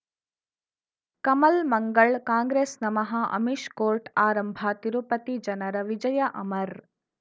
ಕಮಲ್ ಮಂಗಳ್ ಕಾಂಗ್ರೆಸ್ ನಮಃ ಅಮಿಷ್ ಕೋರ್ಟ್ ಆರಂಭ ತಿರುಪತಿ ಜನರ ವಿಜಯ ಅಮರ್